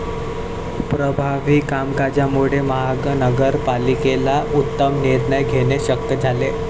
प्रभावी कामकाजामुळे महानगर पालिकेला उत्तम निर्णय घेणे शक्य झाले.